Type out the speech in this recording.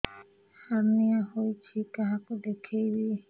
hernia ହୋଇଛି କାହାକୁ ଦେଖେଇବି